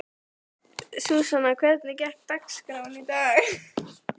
Súsanna, hvernig er dagskráin í dag?